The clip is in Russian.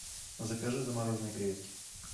закажи замороженные креветки